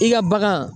I ka bagan